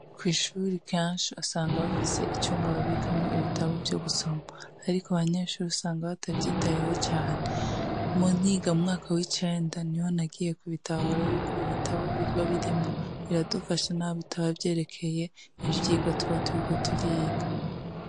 Kw'ishure kenshi usanga bafise icumba babikamwo ibitabo vyo gusoma. Ariko abanyeshure usanga batavyitayeho cane. Muntu yiga mu mwaka w'icenda, niho nagiye kubitahura yuko ibitabo biba birimwo biradufasha naho bitaba vyerekeye ivyigwa tuba turiko turiga.